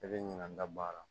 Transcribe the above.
I bɛ ɲina n'a bɔ a la